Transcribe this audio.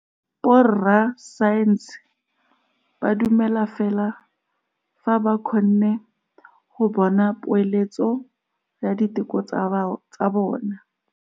Borra saense ba dumela fela fa ba kgonne go bona poeletsô ya diteko tsa bone.